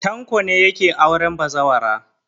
Tanko ne yake auren bazawara.